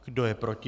Kdo je proti?